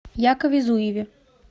якове зуеве